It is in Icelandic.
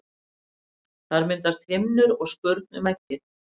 Þar myndast himnur og skurn um eggið.